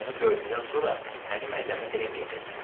Onu gördükdən sonra məni məzəmmət eləməyəcəksən.